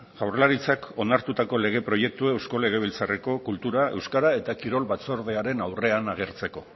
jaurlaritzak onartutako lege proiektua eusko legebiltzarreko kultura euskera eta kirol batzordearen aurrean agertzeko